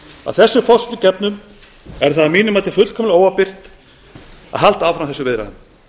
að þessum forsendum gefnum er það að mínu mati fullkomlega óábyrgt að halda áfram þessum viðræðum